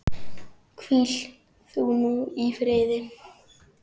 Hvíl þú nú í friði.